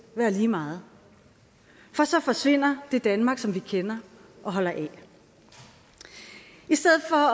være lige meget for så forsvinder det danmark som vi kender og holder af i stedet for